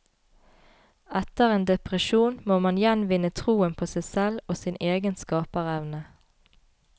Etter en depresjon må man gjenvinne troen på seg selv og sin egen skaperevne.